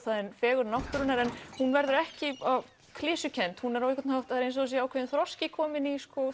fegurð náttúrunnar en hún verður ekki of klisjukennd það er eins og ákveðinn þroski kominn í